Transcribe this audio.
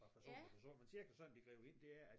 Fra person til person men cirka sådan det griber ind det er at